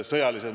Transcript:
Aitäh!